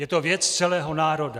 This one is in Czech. Je to věc celého národa.